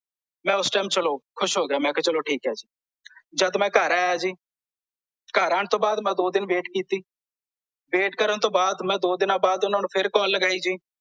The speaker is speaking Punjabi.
ਮੈਂ ਓਸ ਟਾਈਮ ਚਲੋ ਖੁਸ਼ ਹੋ ਗਿਆ ਮੈਂ ਕਿਹਾ ਚਲੋ ਠੀਕ ਐ ਜੀ ਜਦ ਮੈਂ ਘਰ ਆਇਆ ਜੀ ਘਰ ਆਉਣ ਤੋਂ ਬਾਅਦ ਮੈਂ ਦੋ ਦਿਨ wait ਕੀਤੀ wait ਕਰਨ ਤੋਂ ਬਾਅਦ ਦੋ ਦਿਨਾਂ ਬਾਅਦ ਓਹਨਾਂ ਨੂੰ ਫੇਰ ਕਾਲ ਲਗਾਈ ਜੀ